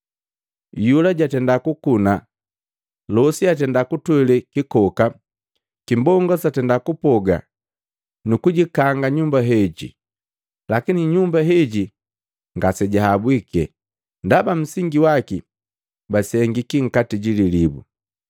Iyula jatenda kukuna, losi yatenda kutwele kikoka, kimbonga satenda kupoga nukujikanga nyumba heji. Lakini nyumba heji ngasejahabwiki ndaba nsingi waki basengiki nkati jililibu.”